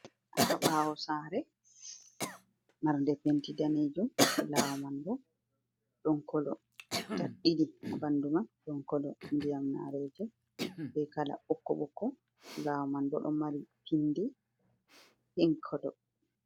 Ha bawo sare marɗe penti danejum lawol man bo don kolo tad didi ɓandu man don kolo ndiyamnareje be kala ɓokko ɓokko lawol man bo ɗo mari pindi pik kolo.